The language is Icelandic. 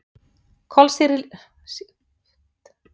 Kolsýrlingur myndast í ríkum mæli þegar tóbak er reykt.